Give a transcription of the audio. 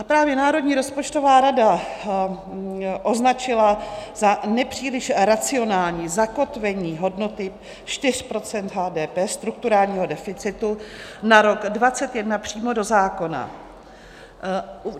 A právě Národní rozpočtová rada označila za nepříliš racionální zakotvení hodnoty 4 % HDP strukturálního deficitu na rok 2021 přímo do zákona.